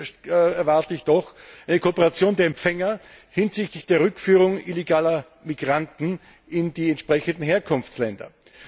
Hier erwarte ich eine Kooperation der Empfänger hinsichtlich der Rückführung illegaler Migranten in die entsprechenden Herkunftsländer.